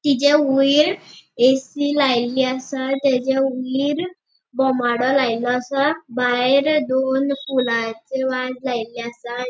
तिचे वयर ऐ.सी. लायली असा तेचा वयर बोमाडॉ लायलो असा भायर दोन फुलाचे वाज लायले असा.